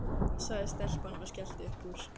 sagði stelpan og skellti upp úr.